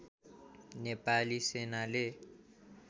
नेपाली सेनाले